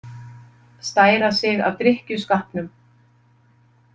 Stæra sig af drykkjuskapnum.